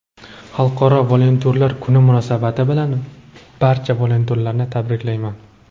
Xalqaro volontyorlar kuni munosabati bilan barcha volontyorlarni tabriklayman.